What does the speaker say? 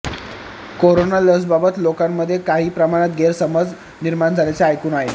corona लसबाबत लोकांमध्ये काही प्रमाणात गैरसमज निर्माण झाल्याचं ऐकून आहे